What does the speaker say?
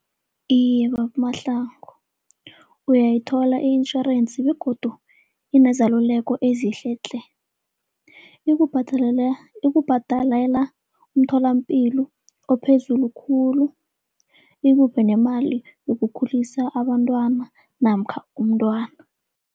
Iye, babuMahlangu, uyayithola i-insurance begodu inezaluleko ezihle tle. Ikubhadalela umtholapilo ophezulu khulu, ikuphe nemali yokukhulisa abantwana namkha umntwana.